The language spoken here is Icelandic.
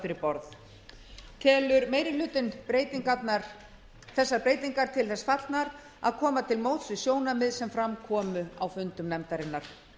fyrir borð telur meiri hlutinn þessar breytingar til þess fallnar að koma til móts við sjónarmið sem fram komu á fundum nefndarinnar